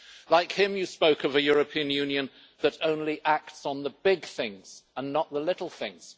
Like him, you spoke of a European Union that only acts on the big things and not the little things.